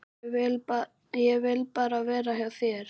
Ég vil bara vera hjá þér.